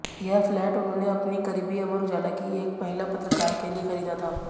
यह फ्लैट उन्होंने अपनी करीबी अमर उजाला की एक महिला पत्रकार के लिये खरीदा था